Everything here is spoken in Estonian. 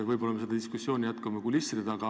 Võib-olla me seda diskussiooni jätkame kulisside taga.